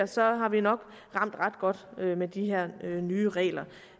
så har vi nok ramt ret godt med de her nye regler